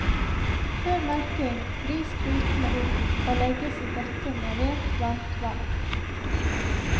Før melking vris klutene opp å legges i bøtte med rent varmt vann.